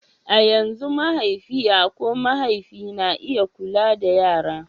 a yanzu mahaifiya ko mahaifi na iya kula da yara